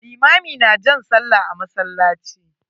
Limami na jan sallah a masallaci.